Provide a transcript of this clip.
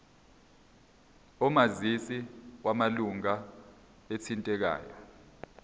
omazisi wamalunga athintekayo